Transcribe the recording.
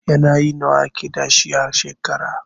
Yanayi nawa ake da su a shekara?